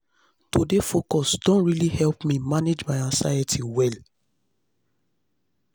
to dey focus don really help me manage anxiety well